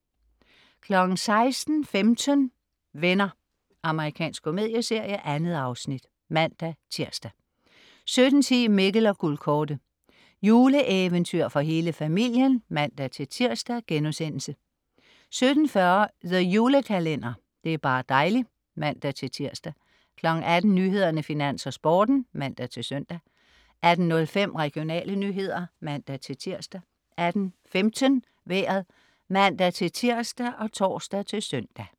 16.15 Venner. Amerikansk komedieserie. 2 afsnit (man-tirs) 17.10 Mikkel og Guldkortet. Juleeventyr for hele familien (man-tirs)* 17.40 The Julekalender. Det er bar' dejli' (man-tirs) 18.00 Nyhederne, Finans, Sporten (man-søn) 18.05 Regionale nyheder (man-tirs) 18.15 Vejret (man-tirs og tors-søn)